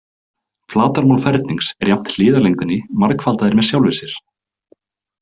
Flatarmál fernings er jafnt hliðarlengdinni margfaldaðri með sjálfri sér.